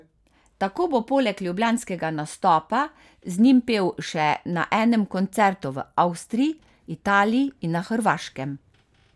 Tako bo poleg ljubljanskega nastopa z njimi pel še na enem koncertu v Avstriji, Italiji in na Hrvaškem.